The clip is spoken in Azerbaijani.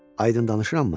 Aydın danışırammı?